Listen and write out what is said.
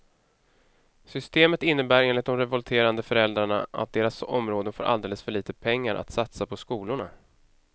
Systemet innebär enligt de revolterande föräldrarna att deras områden får alldeles för lite pengar att satsa på skolorna.